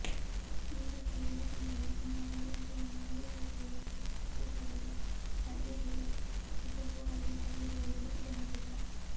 ಈ ಬಗ್ಗೆ ಹೇಳಿಕೊಂಡರೆ ನಿನ್ನ ಮರ್ಯಾದೆಯನ್ನು ಮೂರು ಖಾಸಿಗೆ ಹರಾಜು ಹಾಕುವುದಾಗಿ ಮಹಿಳೆಗೆ ಇಸಬು ಆಲಿ ತಲ್ಲೂರು ಬೆದರಿಕೆ ಹಾಕಿದ್ದ